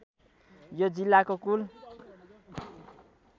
यो जिल्लाको कुल